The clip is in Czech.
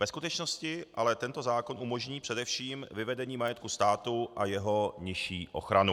Ve skutečnosti ale tento zákon umožní především vyvedení majetku státu a jeho nižší ochranu.